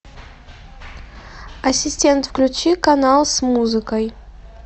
ассистент включи канал с музыкой